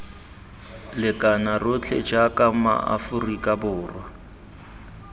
lekana rotlhe jaaka maaforika borwa